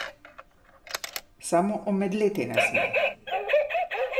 Samo omedleti ne sme.